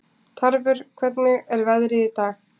Tarfur, hvernig er veðrið í dag?